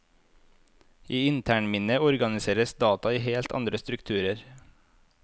I internminnet organiseres data i helt andre strukturer.